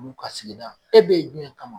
Mu ka segida, e be ye jumɛn kama?